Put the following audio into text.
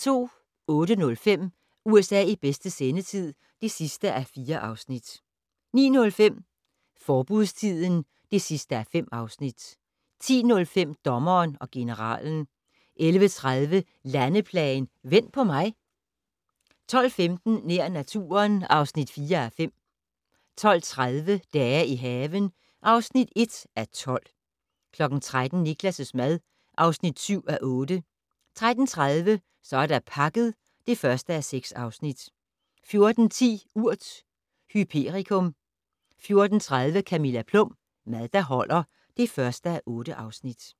08:05: USA i bedste sendetid (4:4) 09:05: Forbudstiden (5:5) 10:05: Dommeren og generalen 11:30: Landeplagen - "Vent på mig" 12:15: Nær naturen (4:5) 12:30: Dage i haven (1:12) 13:00: Niklas' mad (7:8) 13:30: Så er der pakket (1:6) 14:10: Urt: hyperikum 14:30: Camilla Plum - Mad der holder (1:8)